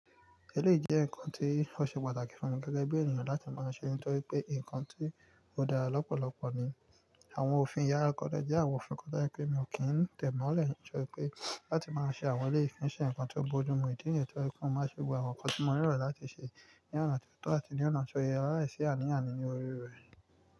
Ẹlẹ́yìí jẹ́ nǹkan tí ó ṣe pàtàkì fún mi gẹ́gẹ́ bí ènìyàn láti máa ṣe nítorí pé nǹkan tí ó dára lọ́pọ̀lọpọ̀ ni. Àwọn òfin yàrá kọn jẹ́ àwọn òfin kan tí ẹ pé mi ò kí ń tẹ̀ mọ́lẹ̀ nítorí pé láti máa ṣe àwọn ẹlẹ́yìí ko n ṣe ǹkan tó bójúmu ìdí níyen to je pé mò máa ṣe gbogbo àwọn nǹkan tí mo nílò láti ṣe ní ọ̀nà tó tọ́ àti ní ọ̀nà tó ye lai sì àní àni ní orí rẹ̀.